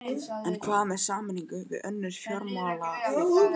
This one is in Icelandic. En hvað með sameiningu við önnur fjármálafyrirtæki?